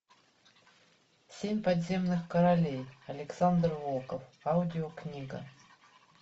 семь подземных королей александр волков аудиокнига